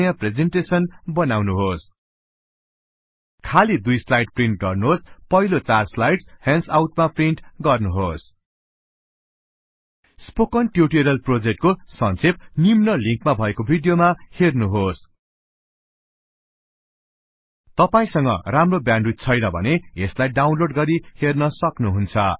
नयाँ प्रेजेनटेसन् बनाउनुहोस खालि 2 स्लाइड प्रिन्ट गर्नुहोस् पहिला चार स्लाइडस् ह्यान्डआउट मा प्रिन्ट गर्नुहोस् स्पोकन ट्युटोरिअल प्रोजेक्ट को संछेप निम्न लिन्क मा भएको विडियो मा हेर्नुहोस if you do not have good bandwidth you can download and watch इत